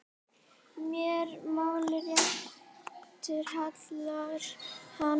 Máli réttu hallar hann